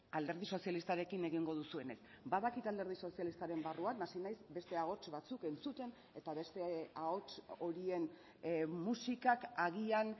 alderdi sozialistarekin egingo duzuenez badakit alderdi sozialistaren barruan hasi naiz beste ahots batzuk entzuten eta beste ahots horien musikak agian